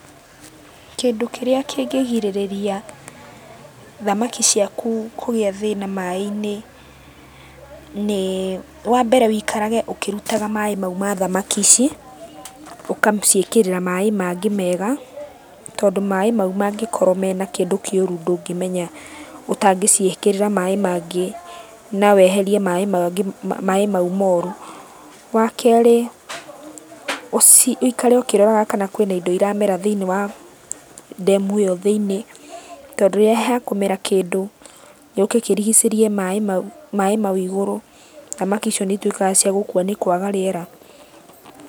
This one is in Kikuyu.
Kĩndũ kĩrĩa kĩngĩgirĩrĩria thamaki ciaku kũgĩa thĩna maĩ-inĩ nĩĩ, wambere wĩikarage ũkĩrutaga maĩ mau ma thamaki ici, ũkaciĩkĩrĩra maĩ mangĩ mega, tondũ maĩ mau mangĩkorwo mena kĩndũ kĩũru ndũngĩmenya ũtangĩciĩkĩrĩra maĩ mangĩ na weherie maĩ mangĩ maĩ mau moru. Wakerĩ ũci, ũikare ũkĩroraga kana kwĩna indo iramera thĩiniĩ wa ndemu ĩyo thĩiniĩ, tondũ rĩrĩa hekũmera kĩndũ gĩũke kĩrigicĩrie maĩ mau, maĩ mau igũrũ, thamaki icio nĩituĩkaga cia gũkua nĩ kwaga rĩera.